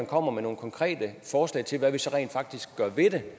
kommer med nogle konkrete forslag til hvad vi så rent faktisk gør ved det